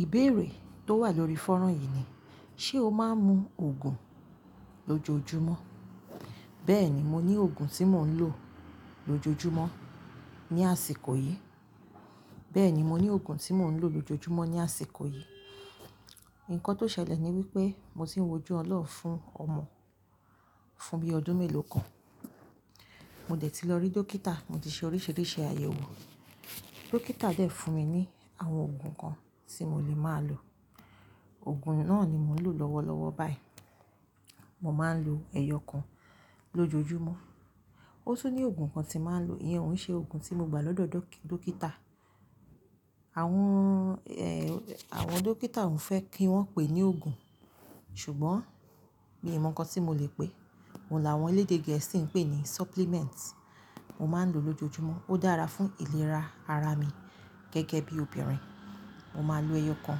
Ìbéèrè tó wà lórí fọ́nrán yìí ni, ṣe o máa ń mu òògùn lójoojúmọ́? Bẹ́ẹ̀ni, mo ní òògùn tí mò ń lò lójoojúmọ́ ní àsìkò yìí. Bẹ́ẹ̀ni, mo ní òògùn tí mò ń lò lójoojúmọ́ ní àsìkò yìí. Ǹkan tó ṣẹlẹ̀ ni wípé mo ti ń wójú ọlọ́run fún ọmọ fún bí i ọdún mélòó kan. Mo dẹ̀ ti lọ rí dókítà, mo ti ṣe oríṣìíríṣìí àyẹ̀wò. Dókítà dẹ̀ fún mi ní àwọn òògùn kan tí mo lè máa lò. Òògùn náà ni mò ń lò lọ́wọ́lọ́wọ́ báyìí. Mo máa ń lo ẹyọ kan lójoojúmọ́. Ó tún ní òògùn kan tí màá ń lò, ìyẹn òun ṣe òògùn tí mo gbà lọ́dọ̀ dókítà. Àwọn, ẹ́, àwọn dókítà ò fẹ́ kí wọ́n pè ní òògùn, ṣùgbọ́n mi ò mọ nǹkan tí mo lè pè é. Òun làwọn elédè gẹ̀ẹ́sì ń pè ní supplement. Mo máa ń lò lójoojúmọ́. Ó dára fún ìlera ara mi gẹ́gẹ́ bí obìnrin. Mo máa ń lo ẹyọ kan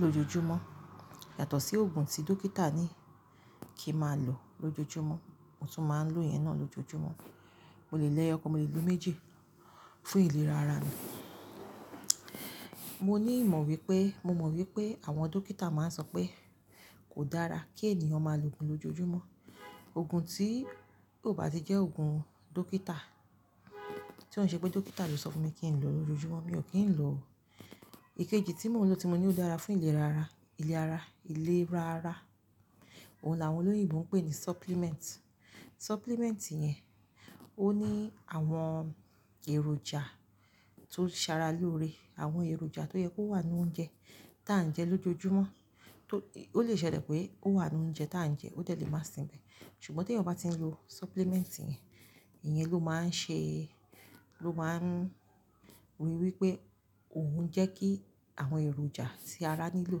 lójoojúmọ́ yàtọ̀ sí òògùn tí dókítà ní kí màá lò lójoojúmọ́, mo tún máa ń lò ìyẹn náà lójoojúmọ́. Mo lè lẹ ẹyọ kan, mo lè lo méjì fún ìlera ara mi. Mo ní ìmọ̀ wípé, mo mọ̀ wípé àwọn dókítà máa ń sọ pé kò dára kí ènìyàn máa lo òògùn lójoojúmọ́. Òògùn tí ó bá ti jẹ́ òògùn dókítà, tí òun ṣe pé dókítà ló sọ fún mi kí n lò lójoojúmọ́, mi ò kí ń lò o. Ikeji tí mò ń lò tí mo ní ó dára fún ìlera ara, ìler ara, ìlera ara, òun làwọn olóyìnbo ń pè ní supplement. Supplement yẹn ó ní àwọn èròjà tó ṣàrà lóre, àwọn èròjà tó yẹ kó wà nínú oúnjẹ tí à ń jẹ lójoojúmọ́. Tó, ó lè ṣẹlẹ̀ pé ó wà nínú oúnjẹ tí à ń jẹ, ó dẹ̀ lè má sinmì, ṣùgbọ́n tí ẹ̀yin ò bá ti ń lo supplement yẹn, ìyẹn ló máa ń ṣe, ló máa ń ríi wípé òun ń jẹ́ kí àwọn èròjà tí ara nílò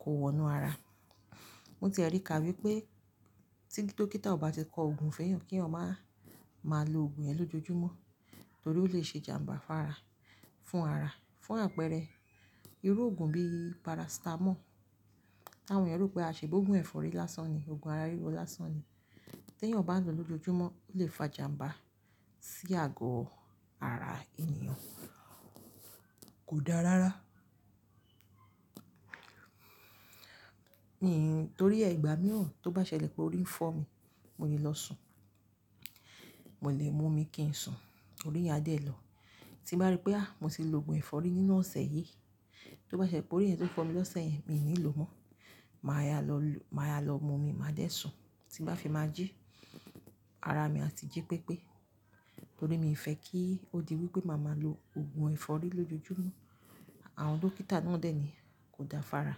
kó wọ inú ara. Mo ti e rí ká wípé tí dókítà ò bá ti kọ òògùn fún ẹeyan, kí eeyan má máa lo òògùn ẹ lójoojúmọ́ torí ó lè ṣe jàm̀bà fára, fún ara. Fún àpẹẹrẹ irú òògùn bíi paracetamol, àwọn ènìyàn rò pé a ṣẹ̀ bọ òògùn ẹ̀fọ́rí lásán ni, òògùn ara ríro lásán ni. Tí ẹ̀eyan bá ń lò lójoojúmọ́ ó lè fa jàm̀bà sí àgọ́ ara ènìyàn. Kò dára rárá. Mì, torí igbà míiran tó bá ṣẹlẹ̀ pé orí ń fọ́ mi, mo le lọ sùn. Mo lè mu omi kí ń sùn, orí yá dẹ̀ lọ. Tí bá rí pé a, mo ti lo òògùn ẹ̀fọ́rí nínú ọ̀sẹ̀ yìí, tó bá ṣẹ pé orí yẹn tó fọ́ mi lọ́sẹ̀ yìí mi ò ní lò mọ́. Màá ya lọ lo, màá ya lọ mu omi, màá dẹ̀ sùn. Tí bá fi má jí, ara mi a ti jí pépé torí mi ò fẹ́ kí ó di wípé màá máa lo òògùn ẹ̀fọ́rí lójoojúmọ́. Àwọn dókítà náà ò dẹ̀ ní kò dára fára.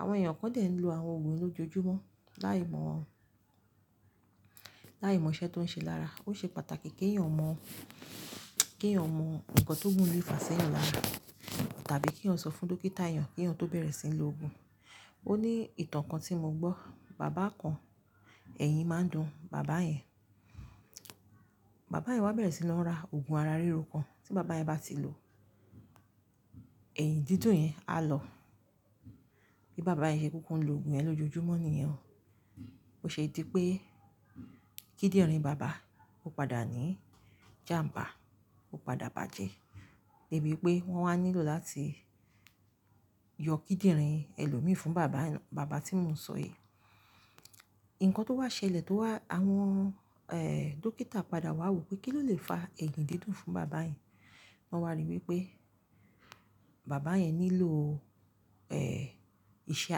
Àwọn ènìyàn kàn dẹ̀ ń lo àwọn òògùn lójoojúmọ́ láìmọ̀, láìmọ̀ iṣẹ́ tó ń ṣe lára. Ó ṣe pàtàkì kí ẹ̀yin mọ̀, kí ẹ̀yin mọ nǹkan tó gún le fà ṣẹ́yàn lára tàbí kí ẹ̀yin sọ fún dókítà yẹn kí ẹ̀yin tó bẹ̀rẹ̀ sí ní lo òògùn. Ó ní ìtàn kan tí mo gbọ́, bàbá kan, ẹ̀yìn máa ń dùn bàbá yẹn. Bàbá yẹn wá bẹ̀rẹ̀ sí lọ ra òògùn ara ríro kan tí bàbá yẹn bá ti lò, ẹ̀yìn dídùn yẹn á lọ. Bí bàbá yẹn ṣe kúún kúún lo òògùn yẹn lójoojúmọ́ nìyẹn. Ó ṣe é dí pé kíndìnrín bàbá ó padà ní jàm̀bà, ó padà bàjẹ́ débi pé wọ́n wá nílò láti yọ kíndìnrín ẹlòmí fún bàbá, bàbá tí mò ń sọ yìí. Ǹkan tó wá ṣẹlẹ̀ tó wá, àwọn, ẹ́, dókítà padà wá wò pé kí ló lè fa ẹ̀yìn dídùn fún bàbá yẹn. Wọ́n wá rí wípé bàbá yẹn nílò, ẹ́, iṣẹ́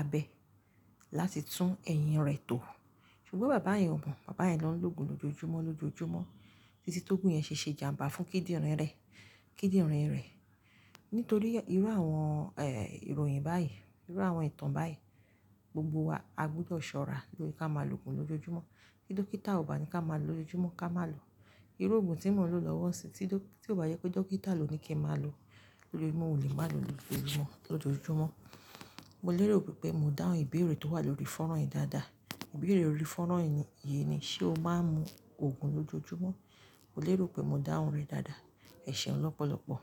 abẹ láti tún ẹ̀yìn rẹ̀ tò. Ṣùgbọ́n bàbá yẹn ò mọ̀, bàbá yẹn ló ń lo òògùn lójoojúmọ́ lójoojúmọ́ títí tó gún yẹn ṣe ṣe jàm̀bà fún kíndìnrín rẹ̀, kíndìnrín rẹ̀. Nítorí irú àwọn, ẹ́, ìròyìn báyìí, irú àwọn ìtàn báyìí, gbogbo wa a gbúdọ̀ ṣọ́ra lórí ká má lóògùn lójoojúmọ́. Kí dókítà ò bá ní ká má lò lójoojúmọ́ ká má lò. Irú òògùn tí mò ń lò lọ́wọ́ ń sì tí dó-- tí ò bá yẹ pé dókítà ló ní kí màá lò lójo-- mò ò lè má lò lójoojúmọ́ lójoojúmọ́. Mo lérò pé mó dáhùn ìbéèrè tó wà lórí fọ́nrán yìí dáadáa. Ìbéèrè orí fọ́nrán yìí ni, ṣe o máa ń mu òògùn lójoojúmọ́? Mo lérò pé mó dáhùn rẹ̀ dáadáa. Ẹ̀ṣẹ̀ ọ́n lọ́pọ̀lọ́pọ̀.